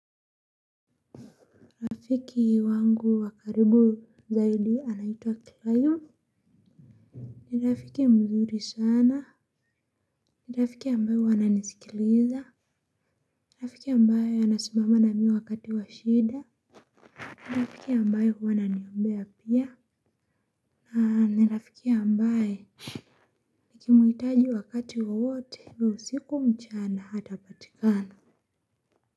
Rafiki wangu wa karibu zaidi anaitwa kilayu. Ni rafiki mzuri sana. Ni rafiki ambayo huwa ananisikiliza. Ni rafiki ambayo anasimama na mi wakati wa shida. Ni rafiki ambayo huwa ananiombea pia. Ni rafiki ambaye nikimuhitaji wakati wowote wa usiku mchana atapatikana.